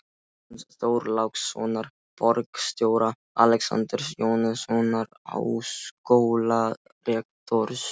Jóns Þorlákssonar borgarstjóra, Alexanders Jóhannessonar háskólarektors